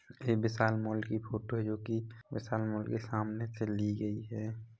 यह विशाल मॉल की फोटो है जो की विशाल मॉल के सामने से ली गई है।